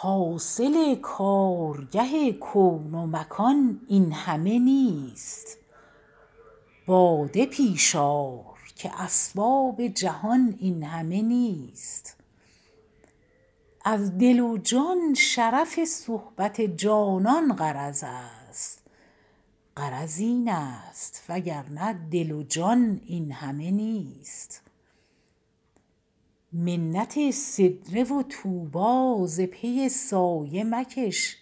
حاصل کارگه کون و مکان این همه نیست باده پیش آر که اسباب جهان این همه نیست از دل و جان شرف صحبت جانان غرض است غرض این است وگرنه دل و جان این همه نیست منت سدره و طوبی ز پی سایه مکش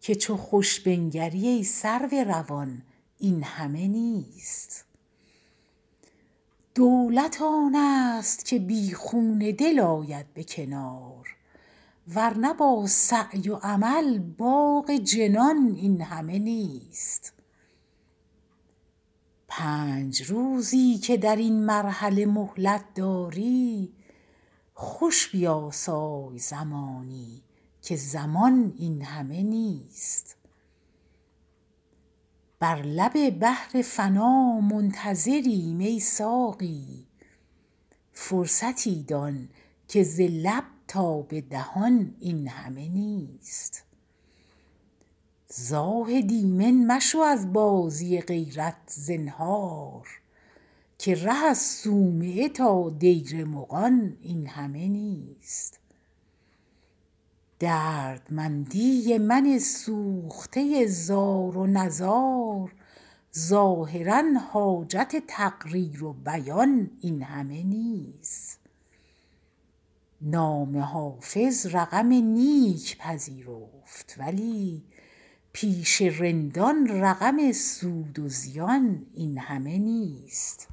که چو خوش بنگری ای سرو روان این همه نیست دولت آن است که بی خون دل آید به کنار ور نه با سعی و عمل باغ جنان این همه نیست پنج روزی که در این مرحله مهلت داری خوش بیاسای زمانی که زمان این همه نیست بر لب بحر فنا منتظریم ای ساقی فرصتی دان که ز لب تا به دهان این همه نیست زاهد ایمن مشو از بازی غیرت زنهار که ره از صومعه تا دیر مغان این همه نیست دردمندی من سوخته زار و نزار ظاهرا حاجت تقریر و بیان این همه نیست نام حافظ رقم نیک پذیرفت ولی پیش رندان رقم سود و زیان این همه نیست